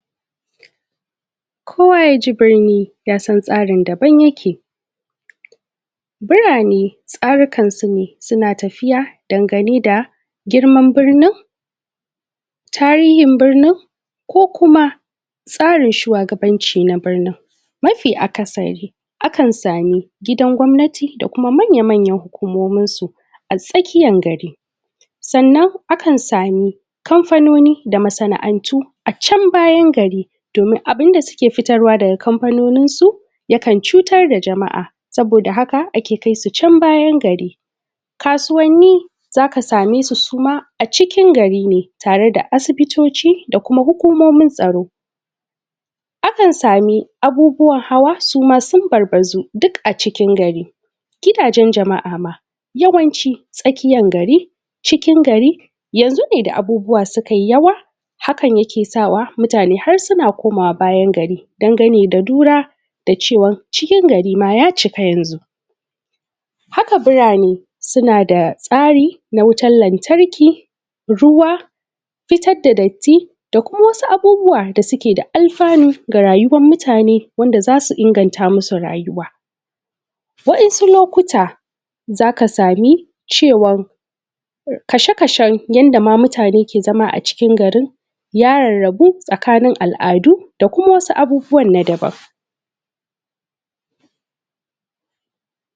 2. kowa yaje brini yasan tsarin daban yake, birane tsari kan sune suna tafiya dangane da girman birinin, tarihin birnin ko kuma tsarin shuwagabanci da birnin, mafi aka sarin akan gidajen gwamnati da kuma manya manyan hukomomin su, a tsakiyan gari. Sannan akan sami kamfanoni da masana’antu a chan bayan gari, abunda suke fitar wa da kamfanoni su ta kan cutar da jama’a saboda haka ake kai su chan bayan gari, kasuwanni zaka same su, suma a cikin gari ne, tare da asibitoci da kuma hukomomin tsaro, zaka sami abubuwan hawa suma sun barbazu duka cikin gari. Gidajen jama’a yawanci tsakiyan gari cikin gari, yanzu ne da abubuwa sukai yawa akan yasa mutane har suna komawa bayan gari, dan gane da lura da cewan cikin gari ma ya cika yanzu, haka birnin suna da tsari na wutar lantarki, ruwa, fitar da datti da kuma wasu abubuwa da suke da amfani da rayuwan mutane wanda zasu inganta musu rayuwa. Wadansu lokuta zaka samu mai wanka sha kashen wanda mutane ma mutane ke zama a cikin garin daza a rabu tsakinin al adu da kuma wasu abubuwa daban